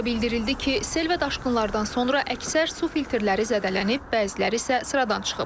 O da bildirildi ki, sel və daşqınlardan sonra əksər su filtrləri zədələnib, bəziləri isə sıradan çıxıb.